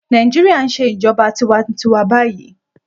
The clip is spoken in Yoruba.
Nàìjíríà ń ṣe ìjọba tiwa-n-tiwa báyìí.